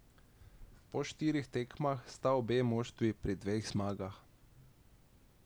Po štirih tekmah sta obe moštvi pri dveh zmagah.